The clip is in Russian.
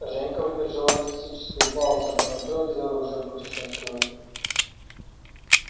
женька выдержал артистическую паузу по метро без оружия путешествует